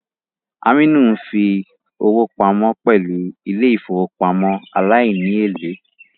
Aminu ń fi owó pamọ́ pẹ̀lú ilé ìfowópamọ́ aláìní èlé